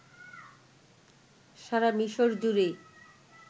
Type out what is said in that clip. সারা মিশর জুড়ে